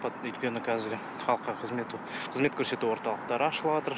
өйткені қазір халыққа қызмет қызмет көрсету орталықтары ашылыватыр